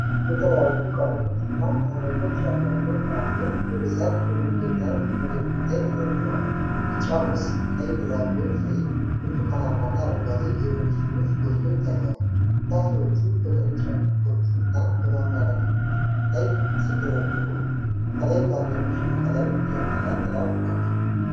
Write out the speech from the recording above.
የተለያዩ ቀለሞችና አይነቶች ያሏቸው ፍራፍሬዎች በብዛት በመንገድ ዳር መደብር ላይ ተደርድረዋል። ቢጫ ሙዝ፣ ቀይ ድራጎን ፍሬ፣ ብርቱካንማና አረንጓዴ የሎሚ ፍሬዎች ጎልተው ይታያሉ። ፍራፍሬዎቹ በቅርጫቶች እና በማማከርያዎች ላይ ሲደረደሩ፣ ከላይ ባለብዙ ቀለም ዣንጥላ ጥላ ሆኖላቸዋል።